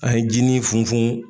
A ye jinin fun fun.